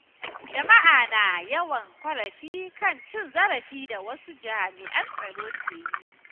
Jama’a na yawan ƙorafi kan cin zarafin da wasu jami’an tsaro ke yi.